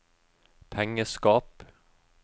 pengeskap